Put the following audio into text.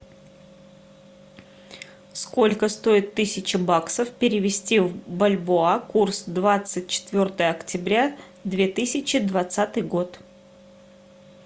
сколько стоит тысяча баксов перевести в бальбоа курс двадцать четвертое октября две тысячи двадцатый год